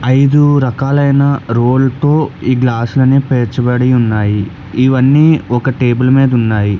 ఐదు రకాలైన రోల్ తో ఈ గ్లాసులనే పేర్చబడి ఉన్నాయి ఇవన్నీ ఒక టేబుల్ మీద ఉన్నాయి.